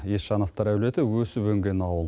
есжановтар әулеті өсіп өнген ауыл